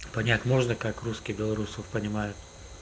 понять можно как русские белорусов понимают